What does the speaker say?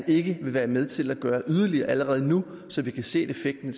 ikke vil være med til at gøre yderligere allerede nu så vi kan se at effekten